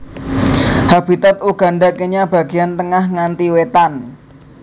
Habitat Uganda Kenya bagéyan tengah nganti wétan